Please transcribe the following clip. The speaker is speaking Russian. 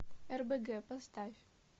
рбг поставь